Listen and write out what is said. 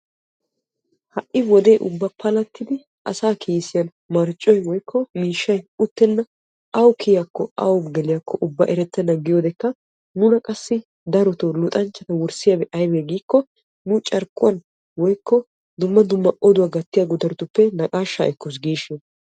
ha'i wode ubba palatidi asaa kiisiyan miishshay woykko marccoy uttenna. awu kiyiyaakko awu geliyakko ubba erettena giyodekka nuna qassi darotoo luxxanchchata wurssiyabi aybee giikko nu carkkuwan woykko dumma dumma oduwa gattiya guttaratuppe naqaashshaa ekkos giishiina.